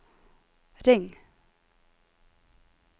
ring